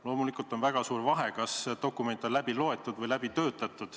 Loomulikult on väga suur vahe, kas dokument on läbi loetud või läbi töötatud.